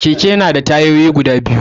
Keke na da tayoyi guda biyu ne